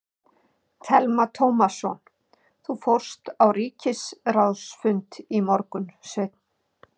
Telma Tómasson: Þú fórst á ríkisráðsfund í morgun, Sveinn?